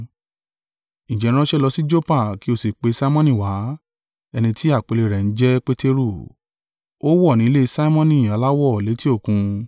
Ǹjẹ́ ránṣẹ́ lọ sí Joppa, kí ó sì pe Simoni wá, ẹni ti àpèlé rẹ̀ ń jẹ́ Peteru; ó wọ̀ ní ilé Simoni aláwọ létí òkun.’